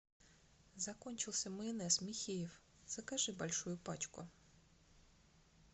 закончился майонез михеев закажи большую пачку